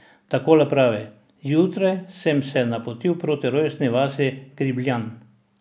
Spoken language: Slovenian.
Takole pravi: 'Zjutraj sem se napotil proti rojstni vasi, Gribljam.